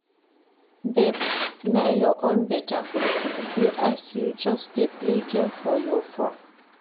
Babe na your own beta, see as you just dey play game for your phone